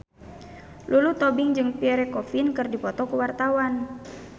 Lulu Tobing jeung Pierre Coffin keur dipoto ku wartawan